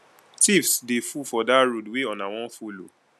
tiffs dey full for dat road wey una wan folo